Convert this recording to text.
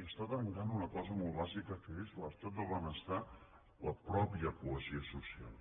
i està trencant una cosa molt bàsica que és l’estat del benestar i la mateixa cohesió social